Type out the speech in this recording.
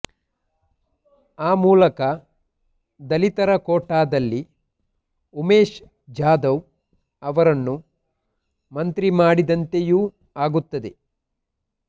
ಆ ಮೂಲಕ ದಲಿತರ ಕೋಟಾದಲ್ಲಿ ಉಮೇಶ್ ಜಾಧವ್ ಅವರನ್ನು ಮಂತ್ರಿ ಮಾಡಿದಂತೆಯೂ ಆಗುತ್ತದೆ